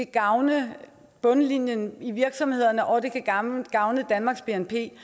gavne bundlinjen i virksomhederne og gavne danmarks bnp